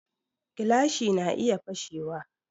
Gilashi na iya fashe wa